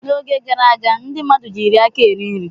N'oge gara aga ndị mmadụ jiiri aka eri nri.